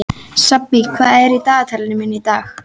Sabína, hvað er á dagatalinu mínu í dag?